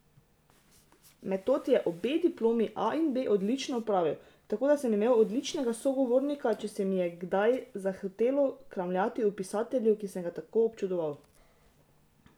Metod je obe diplomi, A in B, odlično opravil, tako da sem imel odličnega sogovornika, če se mi je kdaj zahotelo kramljati o pisatelju, ki sem ga tako občudoval.